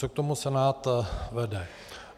Co k tomu Senát vede?